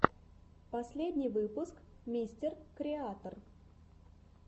последний выпуск мистер креатор